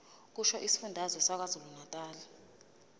kusho isifundazwe sakwazulunatali